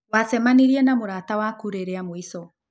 Wacemanĩrĩe na mũrata wakũ rĩ rĩamũĩcho?